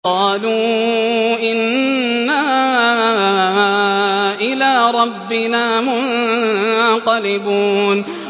قَالُوا إِنَّا إِلَىٰ رَبِّنَا مُنقَلِبُونَ